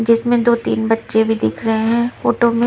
जिसमें दो तीन बच्चे भी दिख रहे हैं फोटो में --